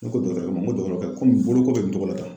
Ne ko dɔgɔtɔrɔkɛ ma n ko dɔgɔtɔrɔkɛ komi boloko bɛ nin cogo la ten